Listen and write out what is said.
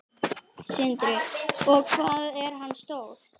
Sindri: Og hvað er hann stór?